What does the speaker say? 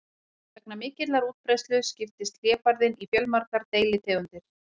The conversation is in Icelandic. Vegna mikillar útbreiðslu skiptist hlébarðinn í fjölmargar deilitegundir.